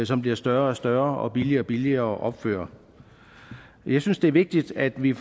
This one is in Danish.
som bliver større og større og billigere og billigere at opføre jeg synes det er vigtigt at vi